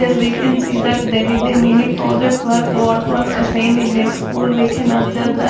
here we can see that there is a mini project work what was assigned in their school we can observe that --